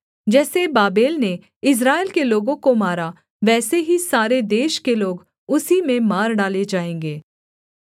जैसे बाबेल ने इस्राएल के लोगों को मारा वैसे ही सारे देश के लोग उसी में मार डाले जाएँगे